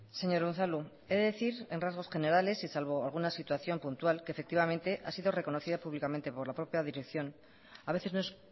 señor unzalu he de decir en rasgos generales y salvo alguna situación puntual que efectivamente ha sido reconocida públicamente por la propia dirección a veces no es